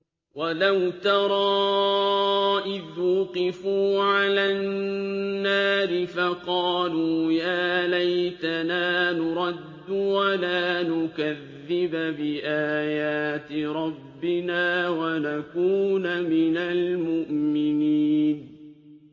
وَلَوْ تَرَىٰ إِذْ وُقِفُوا عَلَى النَّارِ فَقَالُوا يَا لَيْتَنَا نُرَدُّ وَلَا نُكَذِّبَ بِآيَاتِ رَبِّنَا وَنَكُونَ مِنَ الْمُؤْمِنِينَ